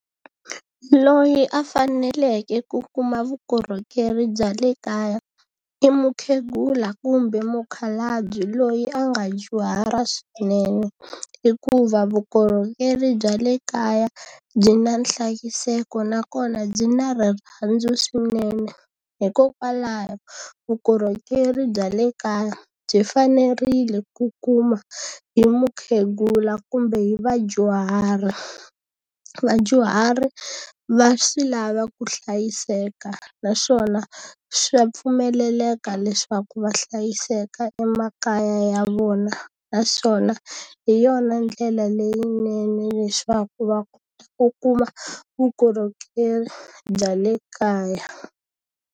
Loyi a faneleke ku kuma vukorhokeri bya le kaya, i mukhegula kumbe mukhalabye loyi a nga dyuhala swinene. Hikuva vukorhokeri bya le kaya, byi na nhlayiseko nakona byi na rirhandzu swinene. Hikokwalaho vukorhokeri bya le kaya byi fanerile ku kuma hi mukhegula kumbe hi vadyuhari. Vadyuhari va swi lava ku hlayiseka naswona swa pfumeleleka leswaku va hlayiseka emakaya ya vona. Naswona hi yona ndlela leyinene leswaku va kuma vukorhokeri bya le kaya.